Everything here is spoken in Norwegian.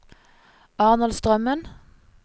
Arnold Strømmen